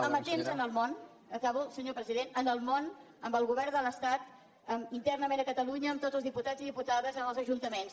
amatents amb el món acabo senyor president amb el món amb el govern de l’estat internament a catalunya amb tots els diputats i diputades amb els ajuntaments